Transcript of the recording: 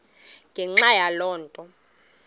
ngenxa yaloo nto